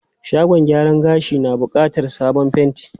Shagon gyaran gashin na bukatar sabon fenti.